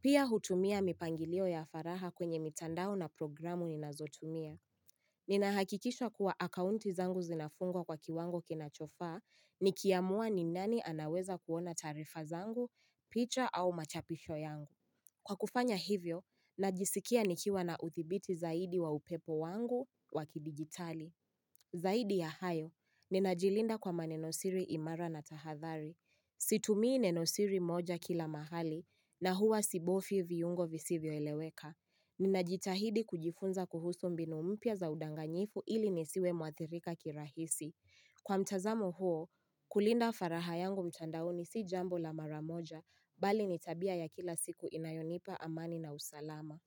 Pia hutumia mipangilio ya faraha kwenye mtandao na programu ninazotumia. Ninahakikisha kuwa akaunti zangu zinafungwa kwa kiwango kinachofaa nikiamua ni nani anaweza kuona taarifa zangu, picha au machapisho yangu. Kwa kufanya hivyo, najisikia nikiwa na uthibiti zaidi wa upepo wangu wakidigitali. Zaidi ya hayo, ninajilinda kwa manenosiri imara na tahathari. Situmii nenosiri moja kila mahali na huwa sibofyi viungo visivyo eleweka. Ninajitahidi kujifunza kuhusu mbinu mpya za udanganyifu ili nisiwe muathirika kirahisi. Kwa mchazamo huo, kulinda faraha yangu mtandaoni si jambo la maramoja, bali nitabia ya kila siku inayonipa amani na usalama.